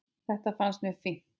Þetta fannst mér fínt.